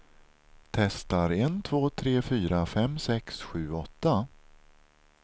Testar en två tre fyra fem sex sju åtta.